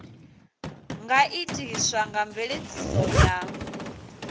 nga itiswa nga mveledziso ya